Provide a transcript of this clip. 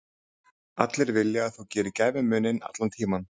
Allir vilja að þú gerir gæfumuninn, allan tímann.